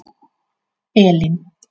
Elín